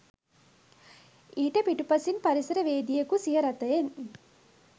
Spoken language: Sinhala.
ඊට පිටුපසින් පරිසරවේදියකු සිය රථයෙන්